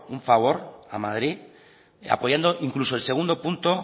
un favor a madrid apoyando incluso el segundo punto